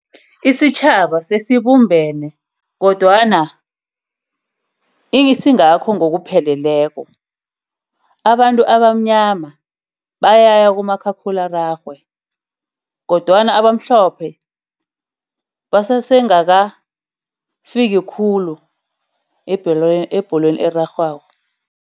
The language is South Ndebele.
Isitjhaba sesibumbene kodwana isingakho ngokupheleleko. Abantu abamnyama bayaya kumakhakhulararhwe kodwana abamhlophe basesengakafiki khulu ebholweni, ebholweni erarhwako.